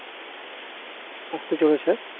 আসতে চলেছে